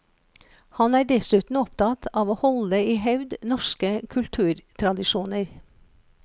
Han er dessuten opptatt av å holde i hevd norske kulturtradisjoner.